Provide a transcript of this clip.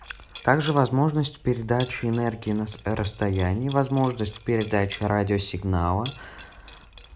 также возможность передачи энергии на с расстоянии возможность передачи радиосигнала